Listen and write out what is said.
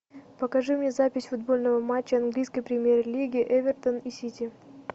покажи мне запись футбольного матча английской премьер лиги эвертон и сити